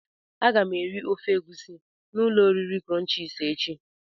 Aga m eri ofe egusi na ulo oriri crunches echi.